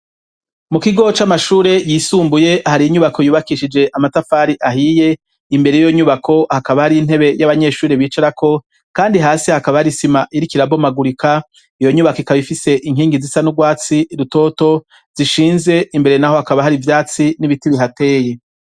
Mu kigo c'amashure yisumbuye hari inyubako yubakishije amatafari ahiye imbere yiyo nyubako hakaba hari intebe y'abanyeshure bicarako kandi hasi hakaba hari isima iriko irabomagurika, iyo nyubako ikaba ifise inkingi zisa n'urwatsi rutoto zishinze imbere naho hakaba hari ivyatsi n'ibiti bihateye.